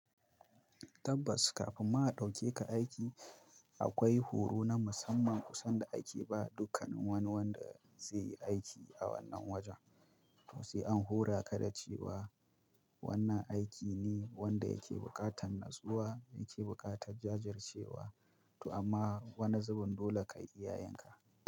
Tabbas kafin mu a ɗauke ka aiki, akwai horo na musamman kusan da ake ba dukkan wani wanda zai yi aiki a wannan wajen. To sai an hora ka da cewa, wannan aiki ne wanda yake bukatan natsuwa yake bukatan jajircewa to amma wani zubin dole kayi iya yinka.